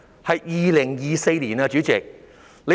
代理主席，是2024年。